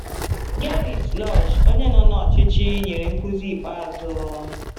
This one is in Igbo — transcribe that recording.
Gerrit Lösch, onye nọ na ọchịchị, nyere nkuzi ikpeazụ.